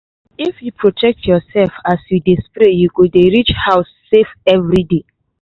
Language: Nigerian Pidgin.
if you protect yourself as you dey spray you go dey reach house safe every day.